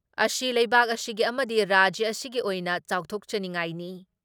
ꯑꯁꯤ ꯂꯩꯕꯥꯛ ꯑꯁꯤꯒꯤ ꯑꯃꯗꯤ ꯔꯥꯖ꯭ꯌ ꯑꯁꯤꯒꯤ ꯑꯣꯏꯅ ꯆꯥꯎꯊꯣꯛꯆꯅꯤꯡꯉꯥꯏꯅꯤ ꯫